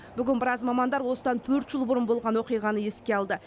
бүгін біраз мамандар осыдан төрт жыл бұрын болған оқиғаны еске алды